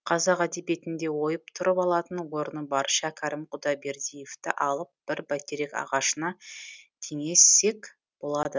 қазақ әдебиетінде ойып тұрып алатын орны бар шәкәрім құдайбердиевті алып бір бәйтерек ағашына теңе сек болады